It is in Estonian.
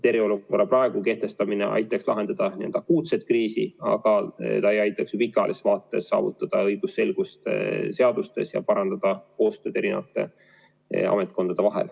Eriolukorra praegu kehtestamine aitaks lahendada n‑ö akuutset kriisi, aga ta ei aitaks pikaajalises vaates saavutada õigusselgust seadustes ja parandada koostööd eri ametkondade vahel.